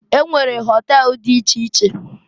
E nwere họtel di iche iche.